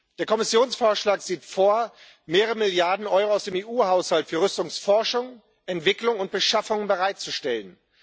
Der Kommissionsvorschlag sieht vor, mehrere Milliarden Euro aus dem EU Haushalt für Rüstungsforschung, entwicklung und beschaffung bereitzustellen.